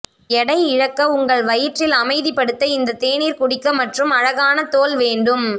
எடை இழக்க உங்கள் வயிற்றில் அமைதிப்படுத்த இந்த தேநீர் குடிக்க மற்றும் அழகான தோல் வேண்டும்